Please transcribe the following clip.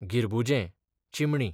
गिरबुजें, चिमणी